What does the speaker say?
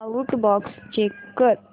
outbox check कर